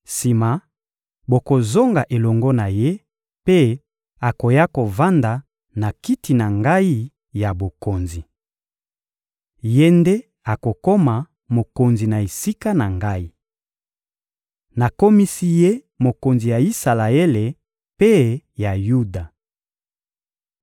Sima, bokozonga elongo na ye, mpe akoya kovanda na kiti na ngai ya bokonzi. Ye nde akokoma mokonzi na esika na ngai. Nakomisi ye mokonzi ya Isalaele mpe ya Yuda.